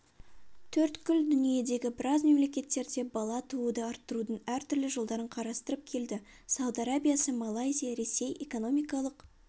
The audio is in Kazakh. төрткүл дүниедегі біраз мемлекеттерде бала тууды арттырудың әртүрлі жолдарын қарастырып келді сауд арабиясы малайзия ресей экономикалық